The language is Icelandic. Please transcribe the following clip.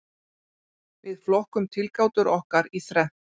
Við flokkum tilgátur okkar í þrennt.